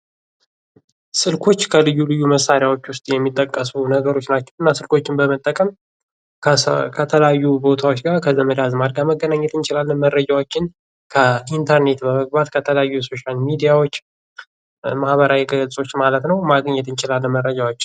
ስልኮች ከልዩ ልዩ መሳሪያዎች ውስጥ የሚጠቀሱ ነገሮች ናቸው። እና ስልኮችን በመጠቀም ከተለያዩ ቦታዎች ጋር ከዘመድ አዝማድ ጋር መገናኘት እንችላለን። መረጃዎችን ከኢንተርኔት በመግባት ከተለያዩ ከሶሻል ሚዲያዎች ማህበራዊ ገጾች ማለት ነው ማግኘት እንችላለን መረጃዎች።